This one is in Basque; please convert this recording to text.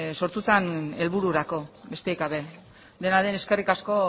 sortu zen helbururako besterik gabe dena den eskerrik asko